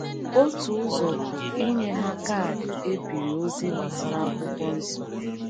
Otu ụzọ bụ inye ha kaadị e biri ozi gbasara akwụkwọ Nsọ.